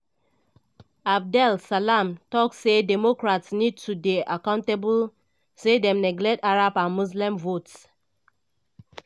abdel salam tok say democrats need to dey accountable say dem neglect arab and muslim votes.